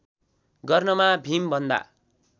गर्नमा भीमभन्दा